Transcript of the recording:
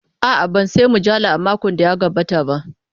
A'a, ban sayi mujalla a makon da ya gabata ba.